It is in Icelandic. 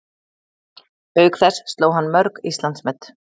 Auk þess sló hann mörg Íslandsmet